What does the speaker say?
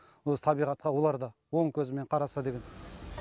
осы табиғатқа олар да оң көзімен қараса деген